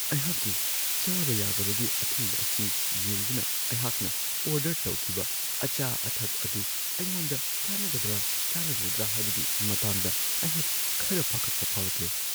ꯑꯩꯍꯥꯛꯀꯤ ꯆꯥꯕ-ꯌꯥꯗꯕꯒꯤ ꯑꯊꯤꯡꯕ ꯑꯁꯤ ꯌꯦꯡꯗꯨꯅ ꯑꯩꯍꯥꯛꯅ ꯑꯣꯔꯗꯔ ꯇꯧꯈꯤꯕ ꯑꯆꯥ-ꯑꯊꯛ ꯑꯗꯨ ꯑꯩꯉꯣꯟꯗ ꯆꯥꯟꯅꯒꯗ꯭ꯔꯥ ꯆꯥꯟꯅꯔꯣꯏꯗ꯭ꯔꯥ ꯍꯥꯏꯕꯒꯤ ꯃꯇꯥꯡꯗ ꯑꯩꯍꯥꯛ ꯈꯔ ꯄꯥꯈꯠꯄ ꯐꯥꯎꯔꯛꯂꯦ ꯫